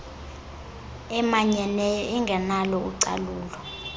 emanyeneyo engenalo ucalulo